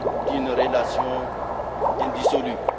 d'une relation indissoluble.